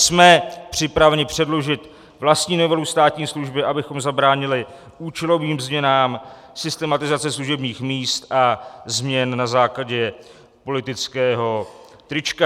Jsme připraveni předložit vlastní novelu státní služby, abychom zabránili účelovým změnám, systematizaci služebních míst a změn na základě politického trička.